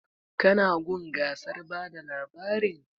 Ka na gun gasar bada labarin?